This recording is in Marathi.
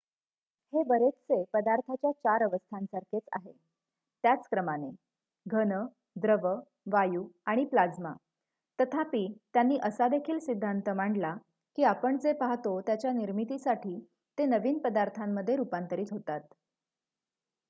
हे बरेचसे पदार्थाच्या चार अवस्थांसारखेच आहे त्याच क्रमाने: घन द्रव वायू आणि प्लाज्मा तथापि त्यांनी असा देखील सिद्धांत मांडला की आपण जे पाहतो त्याच्या निर्मितीसाठी ते नवीन पदार्थांमध्ये रुपांतरित होतात